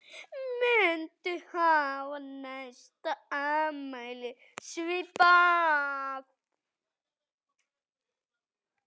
Muntu hafa næsta afmæli svipað?